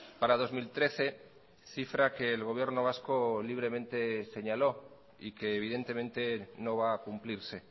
para dos mil trece cifra que el gobierno vasco libremente señaló y que evidentemente no va a cumplirse